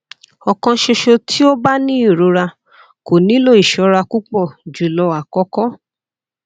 o kan ṣoṣo ti o ba ni irora ko nilo iṣọra pupọ julọ akoko